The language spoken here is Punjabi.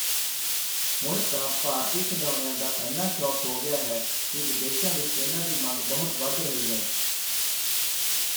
ਹੁਣ ਤਾਂ ਭਾਰਤੀ ਖਿਡੌਣਿਆਂ ਦਾ ਏਨਾ ਸ਼ੌਕ ਹੋ ਗਿਆ ਹੈ ਕਿ ਵਿਦੇਸ਼ਾਂ ਵਿੱਚ ਇਨ੍ਹਾਂ ਦੀ ਮੰਗ ਬਹੁਤ ਵਧ ਰਹੀ ਹੈ।